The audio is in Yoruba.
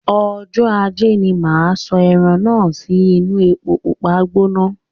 Ọjọ ajé ní máa sọ ẹran náà sì inu èpo pupa gbóná